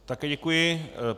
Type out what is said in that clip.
Také děkuji.